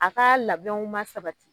A kaa labɛnw ma sabati